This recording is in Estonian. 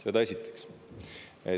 Seda esiteks.